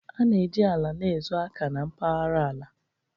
A na-eji ala na-ezo aka na mpaghara ala